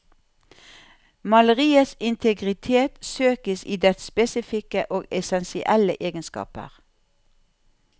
Maleriets integritet søkes i dets spesifikke og essensielle egenskaper.